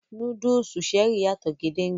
Núdúùsù Cherie yàtò gédéńgbé